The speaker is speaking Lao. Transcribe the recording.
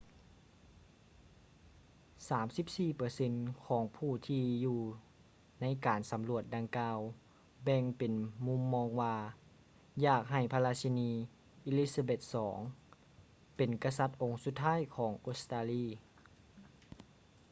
34 ເປີເຊັນຂອງຜູ້ທີ່ຢູ່ໃນການສຳຫຼວດດັ່ງກ່າວແບ່ງປັນມຸມມອງວ່າ ຢາກໃຫ້ພະລາຊິນີ elizabeth ii ເປັນກະສັດອົງສຸດທ້າຍຂອງອົດສະຕາລີ